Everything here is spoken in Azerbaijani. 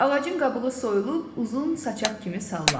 Ağacın qabığı soyulub uzun saçaq kimi sallandı.